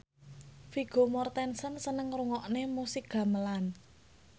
Vigo Mortensen seneng ngrungokne musik gamelan